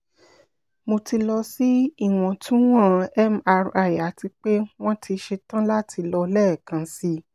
mo ti lọ si iwọntunwọn mri ati pe wọn ti ṣetan lati lọ lẹẹkansi